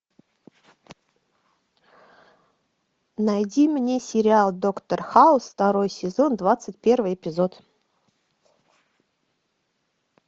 найди мне сериал доктор хаус второй сезон двадцать первый эпизод